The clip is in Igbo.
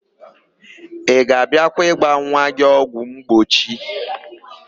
Ị ga-abịakwa ịgba nwa gị ọgwụmgbochi?